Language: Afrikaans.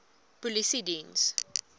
polisiediens